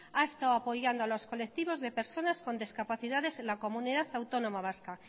ha estado apoyando a los colectivos de personas con discapacidades en la comunidad autónoma vasca